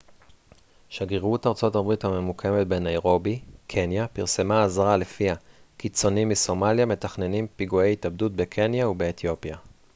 שגרירות ארצות הברית הממוקמת בניירובי קניה פרסמה אזהרה לפיה קיצונים מסומליה מתכננים פיגועי התאבדות בקניה ובאתיופיה